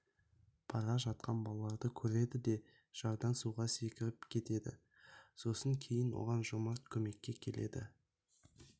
бара жатқан балаларды көреді де жардан суға секіріпк етеді сосын кейін оған жомарт көмекке келеді